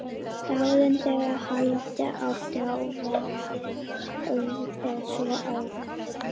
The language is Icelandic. Dagurinn, þegar halda átti í verið, var svo ákveðinn.